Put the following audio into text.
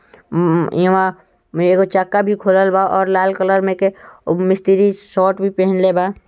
अम यहा मेरेको चक्का भी खोलेल बा ओर लाल कलर मे एक ओ मिस्त्री शॉर्ट भी पहनेल बा।